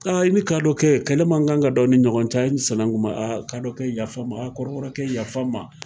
Aa i ni kadɔkɛ, kɛlɛ man kan ka dɔ a ni ɲɔgɔn cɛ, sinankun ma, kadɔ kɛ yafa ma, a kɔrɔbɔrɔ kɛ yafa ma.